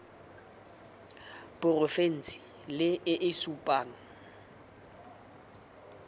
porofense le e e supang